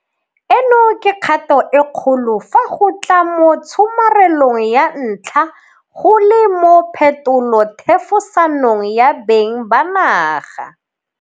Eno ke kgato e kgolo fa go tla mo tshomarelong ya tlha go le mo phetolothefosanong ya beng ba naga.